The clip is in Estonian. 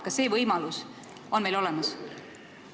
Kas see võimalus on meil olemas?